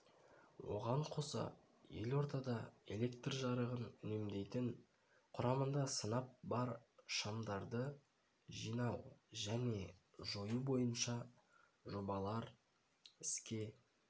оған қоса елордада электр жарығын үнемдейтін құрамында сынап бар шамдарды жинау және жою бойынша жобалар іске